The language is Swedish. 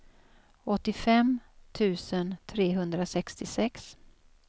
åttiofem tusen trehundrasextiosex